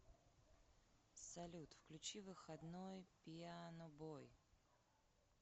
салют включи выходной пианобой